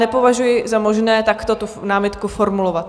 Nepovažuji za možné takto tu námitku formulovat.